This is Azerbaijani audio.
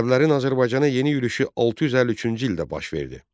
Ərəblərin Azərbaycana yeni yürüşü 653-cü ildə baş verdi.